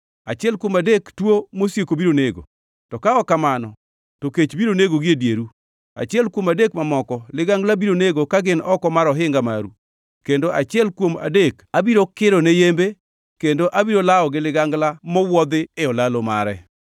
Achiel kuom adek tuo mosieko biro nego, to ka ok kamano to kech biro negogi e dieru; achiel kuom adek mamoko ligangla biro nego ka gin oko mar ohinga maru; kendo achiel kuom adek abiro kiro ne yembe kendo abiro lawo gi ligangla mowuodhi e olalo mare.